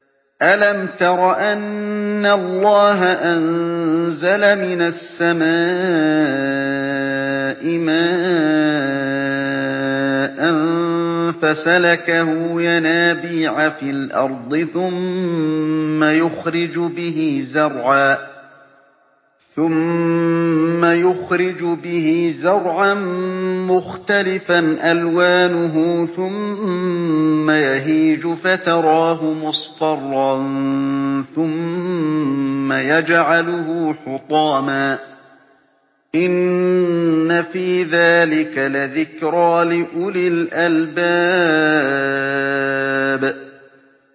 أَلَمْ تَرَ أَنَّ اللَّهَ أَنزَلَ مِنَ السَّمَاءِ مَاءً فَسَلَكَهُ يَنَابِيعَ فِي الْأَرْضِ ثُمَّ يُخْرِجُ بِهِ زَرْعًا مُّخْتَلِفًا أَلْوَانُهُ ثُمَّ يَهِيجُ فَتَرَاهُ مُصْفَرًّا ثُمَّ يَجْعَلُهُ حُطَامًا ۚ إِنَّ فِي ذَٰلِكَ لَذِكْرَىٰ لِأُولِي الْأَلْبَابِ